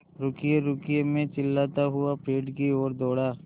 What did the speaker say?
रुकिएरुकिए मैं चिल्लाता हुआ पेड़ की ओर दौड़ा